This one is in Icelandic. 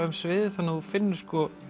um sviðið þannig að þú finnur